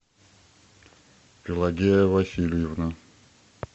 пелагея васильевна